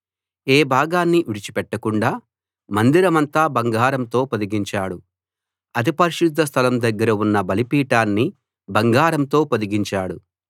ఏ భాగాన్నీ విడిచి పెట్టకుండా మందిరమంతా బంగారంతో పొదిగించాడు అతి పరిశుద్ధ స్థలం దగ్గర ఉన్న బలిపీఠాన్ని బంగారంతో పొదిగించాడు